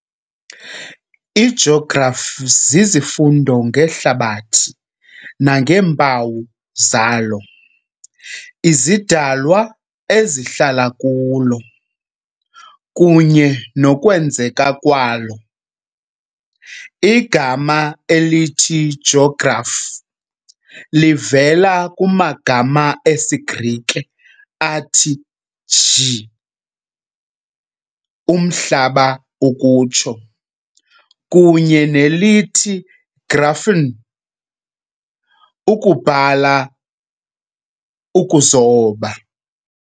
IJografi zizifundo ngeHlabathi nangeempawu zalo, izidalwa ezihlala kulo, kunye nokwenzeka kwalo. Igama elithi "jografi" livela kumagama esiGrike athi "gê", "Umhlaba", kunye nelithi"graphein", "ukubhala, ukuzoba".